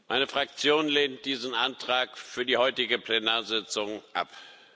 Meine Fraktion lehnt diesen Antrag für die heutige Plenarsitzung ab.